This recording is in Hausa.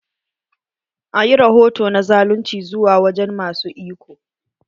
A ƴi rahoto na zalunci zuwa wajen ma su iko.